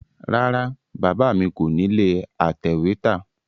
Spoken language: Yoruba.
Rárá Bàbá mi kò nílé atẹ̀wẹ́tà